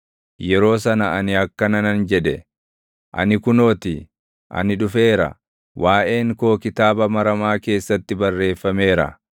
Yeroo sana ani akkana nan jedhe; “Ani kunoo ti; ani dhufeera; waaʼeen koo kitaaba maramaa keessatti barreeffameera.